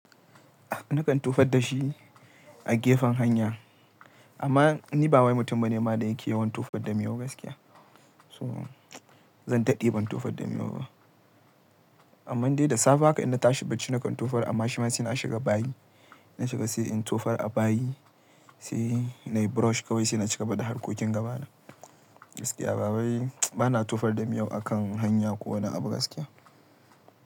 Nakan tofar da shi a gefen hanya. Amma ni bawai mutum bane ma da yake yawan tofar da miyau gaskiya. To zan daɗe ban tofar da miyau ba. Amman dai da safe haka in na tashi bacci nakan tofar amma shi ma se na shiga bayi. Na shiga sai in tofar a bayi, se nayi brush kawai se na cigaba da harkokin gaba na. Gaskiya bawai bana tofar da miyau akan hanya ko wani abu gaskiya.